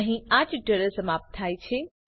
અહીં આ ટ્યુટોરીયલ સમાપ્ત થાય છે